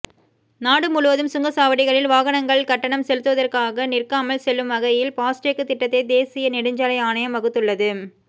நாடு முழுவதும் சுங்கச்சாவடிகளில் வாகனங்கள் கட்டணம் செலுத்துவதற்காக நிற்காமல் செல்லும் வகையில் பாஸ்டேக் திட்டத்தை தேசிய நெடுஞ்சாலை ஆணையம் வகுத்துள்ளது